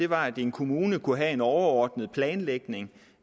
var at en kommune kunne have en overordnet planlægning